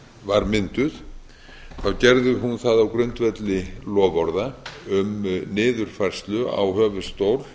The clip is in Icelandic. var mynduð gerði hún það á grundvelli loforða um niðurfærslu á höfuðstól